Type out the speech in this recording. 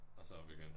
Og så op igen